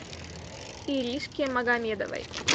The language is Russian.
иришке магомедовой